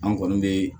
An kɔni be